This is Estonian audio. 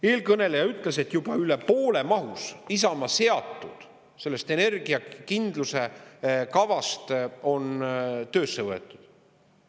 Eelkõneleja ütles, et juba üle poole mahus Isamaa seatud sellest energiakindluse kavast on töösse võetud.